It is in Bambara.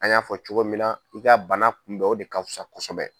An y'a fɔ cogo min na i ka bana kunbɛ o de ka fusa kosɛbɛ.